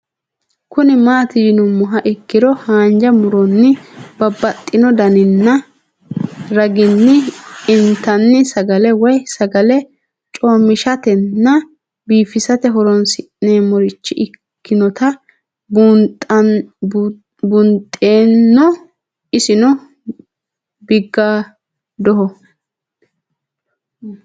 Kuni mati yinumoha ikiro hanja muroni babaxino daninina ragini intani sagale woyi sagali comishatenna bifisate horonsine'morich ikinota bunxeeno isino bigadoho